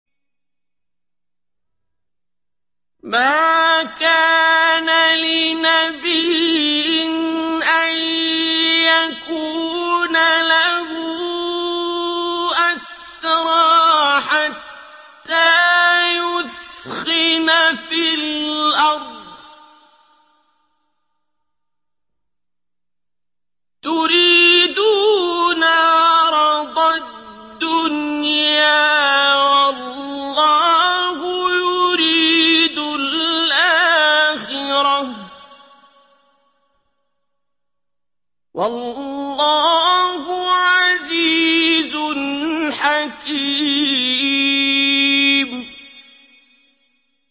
مَا كَانَ لِنَبِيٍّ أَن يَكُونَ لَهُ أَسْرَىٰ حَتَّىٰ يُثْخِنَ فِي الْأَرْضِ ۚ تُرِيدُونَ عَرَضَ الدُّنْيَا وَاللَّهُ يُرِيدُ الْآخِرَةَ ۗ وَاللَّهُ عَزِيزٌ حَكِيمٌ